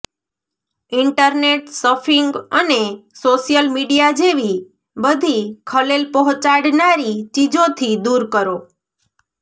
internet surfing અને social media જેવી બધી ખલેલ પહોંચાડનારી ચીજોથી દૂર કરો